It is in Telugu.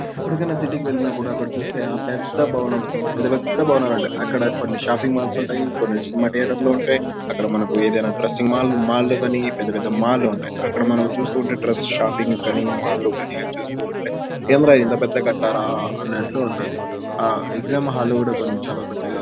ఎప్పుడుకైన సిటీ కి వెళ్తే అక్కడ చూస్తే ఆ పెద్ద భవనం పెద్ద పెద్ద భవనాలు ఉంటాయి.అక్కడ కొన్ని షాపింగ్ మాల్ ఉంటాయి. కొన్ని సినిమా థియేటర్స్ ఉంటాయి. అక్కడ మనకి ఏదైన డ్రెస్సింగ్ మాల్ కానీ మాల్ లు కానీ పెద్ద పెద్ద మాల్ లు ఉంటాయి.అక్కడ మనం చూసి ఉంటే డ్రెస్సింగ్ షాపింగ్ కానీ మాల్ కానీ అది చూస్తుంటే ఏమిరా ఇంత పెద్దగా కట్టారా అన్నట్లుగా ఉంటది. ఆ ఎగ్జాం హాల్ కూడా చాల పెద్దగా--